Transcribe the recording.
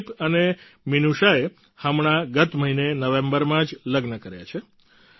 અનુદીપ અને મિનૂષાએ હમણાં ગત મહિને નવેમ્બરમાં જ લગ્ન કર્યા છે